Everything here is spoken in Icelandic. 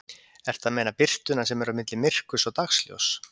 Ertu að meina birtuna sem er á milli myrkurs og dagsljóss?